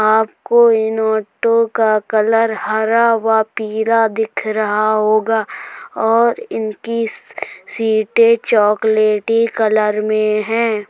आपको इन ऑटो का कलर हरा व पीला दिख रहा होगा और इन की सीटें चॉकलेटी कलर में है।